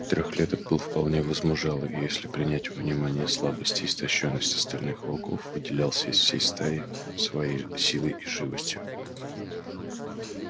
трёхлеток был вполне возмужалый и если принять во внимание слабость и истощённость остальных волков выделялся из всей стаи своей силой и живостью